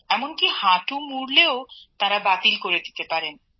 এমনকি হাঁটু মুড়লেও তাঁরা বাতিল করে দিতে পারেন